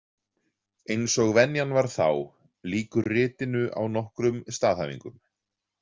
Eins og venjan var þá, lýkur ritinu á nokkrum staðhæfingum.